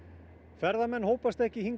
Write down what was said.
ferðamenn hópast ekki hingað